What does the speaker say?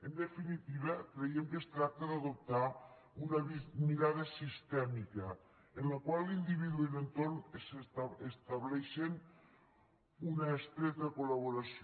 en definitiva creiem que es tracta d’adoptar una mirada sistèmica en la qual l’individu i l’entorn estableixen una estreta col·laboració